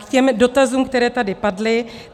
K těm dotazům, které tady padly.